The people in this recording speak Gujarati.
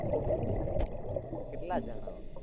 કેટલાં જણ હો?